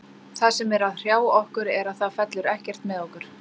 Það sem er að hrjá okkur er að það fellur ekkert með okkur.